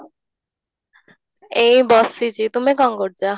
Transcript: ଏଇ ବସିଛି ତୁମେ କଣ କରୁଛ?